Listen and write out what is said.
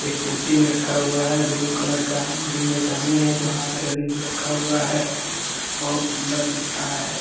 एक कुर्सी भी रखा हुआ है ब्लू कलर का बगल में एक आदमी है जो हाथ रेलिंग पे रखा हुआ है बहुत सुन्दर दिख रहा है ।